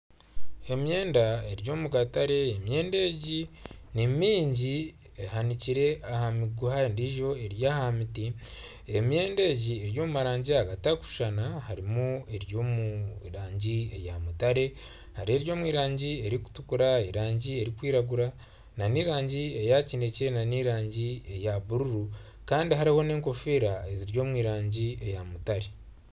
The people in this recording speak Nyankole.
Emyenda eri omu katare, emyenda egi ni nyingi ehanikire aha miguha endijo eri aha miti emyenda egi eri omu marangi agatakushushana harimu eri omu rangi ya mutare hariho eri omu rangi ey'okutukura, erangi erikwiragura, n'erangi eya kinekye, n'erangi eya buruuru kandi hariho n'enkofiira eziri omu rangi eya mutare.